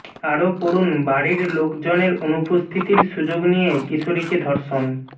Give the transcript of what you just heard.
আরও পড়ুন বাড়ির লোকজনের অনুপস্থিতির সুযোগ নিয়ে কিশোরীকে ধর্ষণ